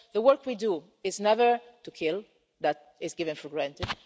terms. So the work we do is never to kill that is taken for